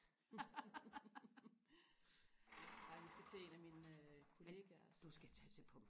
ej vi skal til en af mine kollegaers